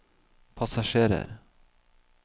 passasjerer